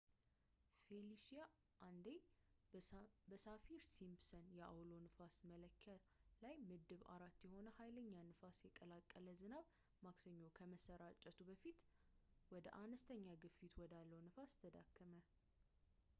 ፌሊሺያ አንዴ በሳፊር-ሲምፕሰን የአውሎ ንፋስ መለኪያ ላይ ምድብ 4 የሆነ ሀይለኛ ንፋስ የቀላቀለ ዝናብ ማክሰኞ ከመሠራጨቱ በፊት ወደ አንስተኛ ግፊት ወዳለው ንፋስ ተዳከመ